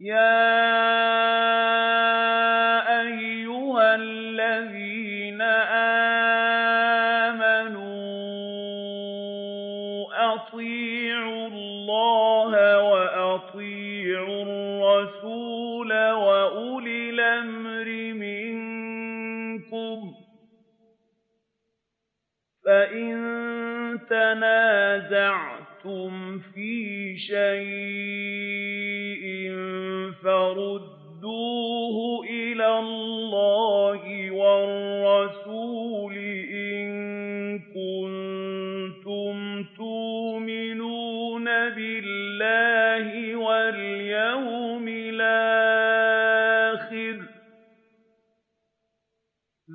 يَا أَيُّهَا الَّذِينَ آمَنُوا أَطِيعُوا اللَّهَ وَأَطِيعُوا الرَّسُولَ وَأُولِي الْأَمْرِ مِنكُمْ ۖ فَإِن تَنَازَعْتُمْ فِي شَيْءٍ فَرُدُّوهُ إِلَى اللَّهِ وَالرَّسُولِ إِن كُنتُمْ تُؤْمِنُونَ بِاللَّهِ وَالْيَوْمِ الْآخِرِ ۚ